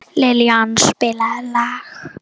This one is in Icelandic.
Liljan, spilaðu lag.